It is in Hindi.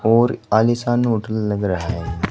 और आलीशान होटल लग रहा है।